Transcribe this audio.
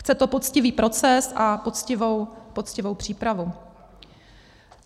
Chce to poctivý proces a poctivou přípravu.